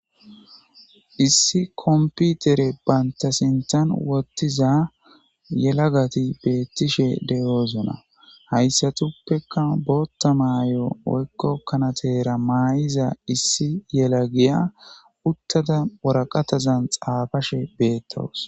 issi komputere banta sinthan wottiza yelagati beettishe deyoozona hayssatuppeka bootta maayo woykko kanateera maa7iza issi yela giya uttada woraqatazan xaafashe beettawusi